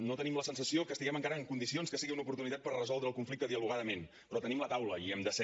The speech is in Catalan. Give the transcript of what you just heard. no tenim la sensació que estiguem encara en condicions que sigui una oportunitat per resoldre el conflicte dialogadament però tenim la taula i hi hem de ser